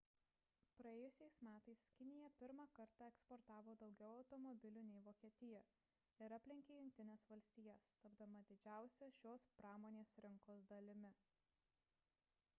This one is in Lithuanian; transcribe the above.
praėjusiais metais kinija pirmą kartą eksportavo daugiau automobilių nei vokietija ir aplenkė jungtines valstijas tapdama didžiausia šios pramonės rinkos dalimi